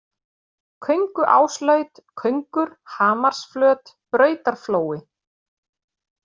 Könguáslaut, Köngur, Hamarsflöt, Brautarflói